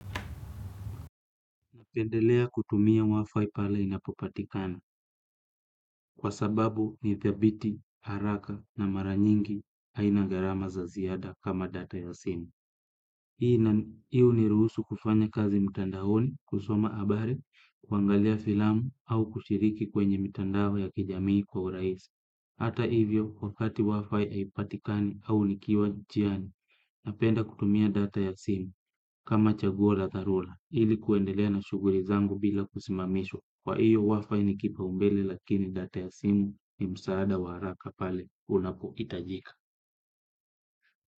Napendelea kutumia wifi pala inapopatikana kwa sababu nithabiti, haraka na mara nyingi haina gharama za ziada kama data ya simu. Hii huniruhusu kufanya kazi mtandaoni kusoma habari, kuangalia filamu au kushiriki kwenye mtandao ya kijamii kwa urahisi. Hata hivyo wakati WIFI haipatikani au nikiwa njiani napenda kutumia data ya simu kama chaguo la dharura ilikuendelea na shughuli zangu bila kusimamishwa kwa hivyo WIFI ni kipaumbele lakini data ya simu ni msaada wa haraka pale unapohitajika.